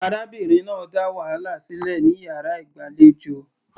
Arábìnrin náà dá wàhálà sílẹ̀ ní yàrá ìgbàlejò.